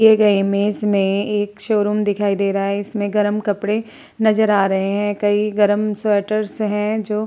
दिए गए इमेज में एक शोरूम दिखाई दे रहा है। इसमें गर्म कपडे नजर आ रहे हैं। कई गर्म स्वेटर्स हैं जो --